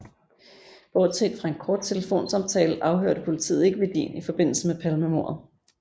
Bortset fra en kort telefonsamtale afhørte politiet ikke Wedin i forbindelse med Palmemordet